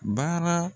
Baara